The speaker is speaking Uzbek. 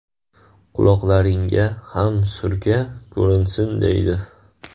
Quloqlaringga ham surka, ko‘rinsin” deydi.